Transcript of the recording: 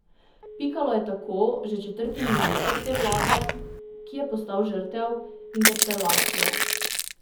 Pikalo je tako že četrti minister te vlade, ki je postal žrtev interpelacije.